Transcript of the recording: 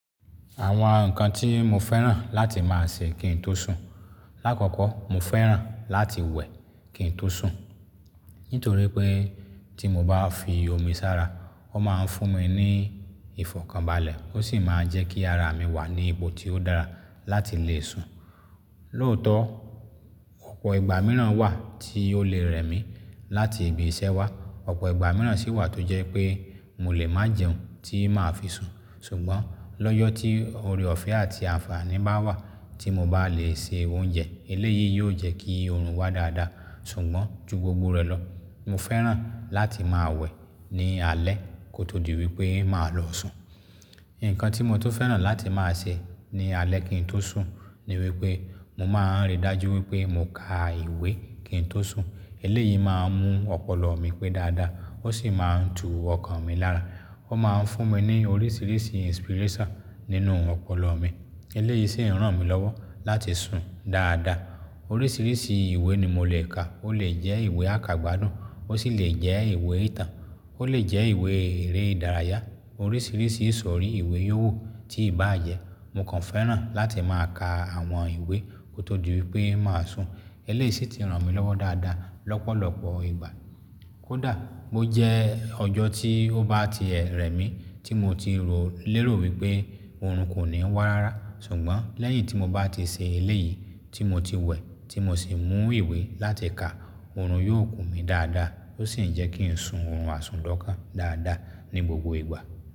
Àwọn nǹkan tí mo fẹ́ràn láti máa ṣe kí n tó sùn. Láàkọ́kọ́ mo fẹ́ràn láti wẹ̀ kí n tó sùn. Nítorí pé tí mo bá fi omi sára, ó máa ń fún mi ní ìfọ̀kànbalẹ̀ ó sì máa ń jẹ́ kí ara mi wà ní ipo tí ó dára láti le sùn. Lóòótọ́ ọ̀pọ̀ ìgbà mìíràn wà tí ó le rẹ̀ mí láti ibi iṣẹ́ wá, ọ̀pọ̀ ìgbà mìíràn sì wà tó jẹ́ pé mo lè máa jẹun tí máa fi sùn. Ṣùgbọ́n lọ́jọ́ tí oore ọ̀fẹ́ àti àǹfààní bá wà tí mo bá le se oúnjẹ, eléyìí yóò jẹ́ kí oorun wá dáadáa. Ṣùgbọ́n ju gbogbo rẹ̀ lọ, mo fẹ́ràn láti máa wẹ̀ ní alẹ́ kó tó di wípé máa lọ sùn. Ǹkan tí mo tó fẹ́ràn láti máa ṣe ní alẹ́ kí n tó sùn ni wípé mo máa ń rí dájú wípé mo ka ìwé kí n tó sùn. Eléyìí máa ń mú ọpọlọ mi pé dáadáa, ó sì máa ń tu ọkàn mi lára. Ó máa ń fún mi ní oríṣìíríṣìí inspiration nínú ọpọlọ mi. Eléyìí sì ń ràn mí lọ́wọ́ láti sùn dáadáa. Oríṣìíríṣìí ìwé ni mo lè ka, ó lè jẹ́ ìwé àkàgbádùn ó sì lè jẹ́ ìwé ìtàn, ó lè jẹ́ ìwé eré ìdárayá. Oríṣìíríṣìí ìsọ̀rí ìwé yóò ti ì bá jẹ́ mo kàn fẹ́ràn láti máa ka àwọn ìwé kó tó di wípé máa sùn. Eléyìí sì ti ràn mí lọ́wọ́ dáadáa lọ́pọ̀lọpọ̀ ìgbà. Kódà bó jẹ́ ọjọ́ tí ó bá ti ẹ̀ rẹ̀ mí tí mo ti rò lérò wípé oorun kò ní wá rárá, ṣùgbọ́n lẹ́yìn tí mo bá ti ṣe eléyìí tí mo ti wẹ̀ tí mo sì mú ìwé láti ka, oorun yóò kú mi dáadáa ó sì ń jẹ́ kí n sùn orun àsùndán kán dáadáa ní gbogbo ìgbà.